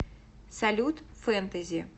салют фэнтэзи